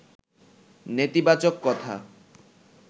নেতিবাচক কথা